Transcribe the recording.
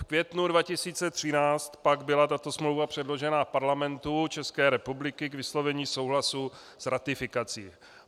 V květnu 2013 pak byla tato smlouva předložena Parlamentu České republiky k vyslovení souhlasu s ratifikací.